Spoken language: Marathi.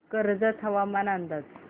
कर्जत हवामान अंदाज